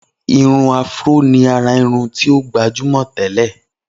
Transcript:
Irun áfúró ni àrà irun tí o gbajúmọ̀ tẹ́lẹ̀